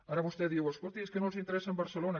ara vostè diu escolti és que no els interessa barcelona